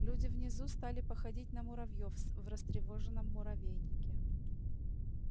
люди внизу стали походить на муравьёв в растревоженном муравейнике